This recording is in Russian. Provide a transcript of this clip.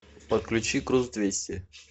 подключи груз двести